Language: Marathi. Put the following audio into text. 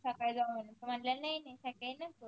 सकाळी जाऊ म्हनून त म्हनला नाई नाई सकाळी नसत